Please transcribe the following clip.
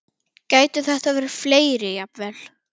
Gætu þetta verið fleiri jafnvel?